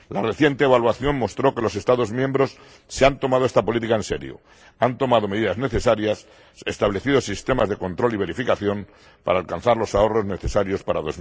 La reciente evaluación mostró que los Estados miembros se han tomado esta política en serio, han tomado medidas necesarias y establecido sistemas de control y verificación para alcanzar los ahorros necesarios para